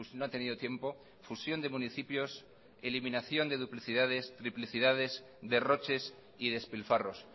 no ha tenido tiempo fusión de municipios eliminación de duplicidades triplicidades derroches y despilfarros